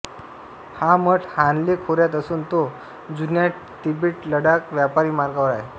हा मठ हानले खोऱ्यात असून तो जुन्या तिबेटलडाख व्यापारी मार्गावर आहे